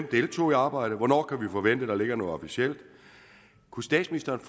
deltog i arbejdet og hvornår kan vi forvente at der ligger noget officielt kunne statsministeren